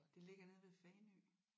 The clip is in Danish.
Det ligger nede ved Fanø